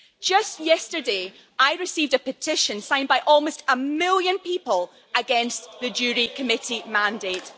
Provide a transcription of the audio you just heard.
Just yesterday I received a petition signed by almost a million people against the JURI Committee mandate.